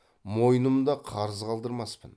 мойнымда қарыз қалдырмаспын